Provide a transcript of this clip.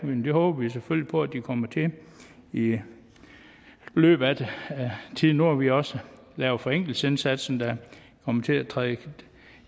men det håber vi selvfølgelig på at de kommer til i i løbet af tiden nu har vi også lavet forenklingsindsatsen der kommer til at træde